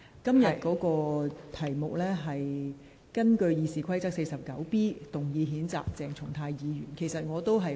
本會現時處理的是，根據《議事規則》第 49B 條動議譴責鄭松泰議員的議案。